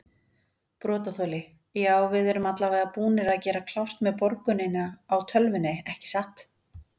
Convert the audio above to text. Brotaþoli: Já við erum allavega búnir að gera klárt með borgunina á tölvunni ekki satt?